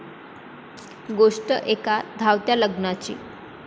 गोष्ट एका धावत्या लग्नाची...